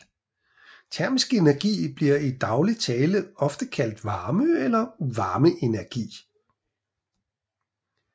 Termisk energi bliver i daglig tale ofte kaldt varme eller varmeenergi